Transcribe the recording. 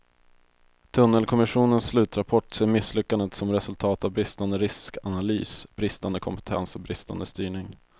Tunnelkommissionens slutrapport ser misslyckandet som resultat av bristande riskanalys, bristande kompetens och bristande styrning.